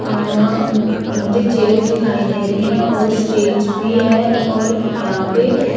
अ मुझे चेयर्स दिखाई दे रही हैं और स्टेज भी है और यहां पे --